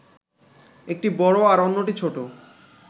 একটি বড় আর অন্যটি ছোট